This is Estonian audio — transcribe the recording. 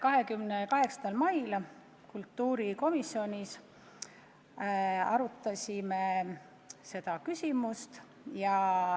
28. mail me kultuurikomisjonis arutasime seda küsimust.